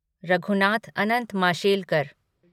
Raghunath Anant Mashelkar